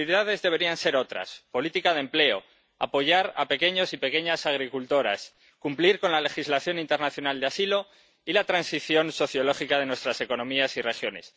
Las prioridades deberían ser otras política de empleo, apoyar a pequeños y pequeñas agricultoras, cumplir con la legislación internacional de asilo, y la transición sociológica de nuestras economías y regiones.